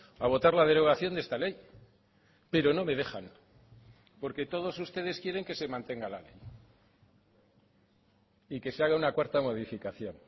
a votar la derogación de esta ley pero no me dejan porque todos ustedes quieren que se mantenga la ley y que se haga una cuarta modificación